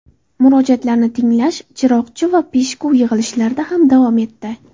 Murojaatlarni tinglash Chiroqchi va Peshku yig‘ilishlarida ham davom etdi.